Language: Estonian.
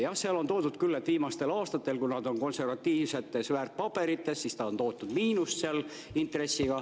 Jah, on küll välja toodud, et viimastel aastatel, kuna see on konservatiivsetes väärtpaberites, on see intressiga tootnud miinust.